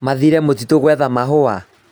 Mathire mũtitũ gwetha mahũa